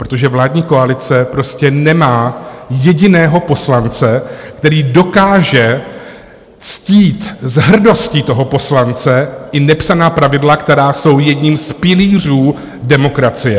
Protože vládní koalice prostě nemá jediného poslance, který dokáže ctít s hrdostí toho poslance i nepsaná pravidla, která jsou jedním z pilířů demokracie.